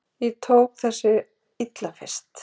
Ég tók þessu illa fyrst.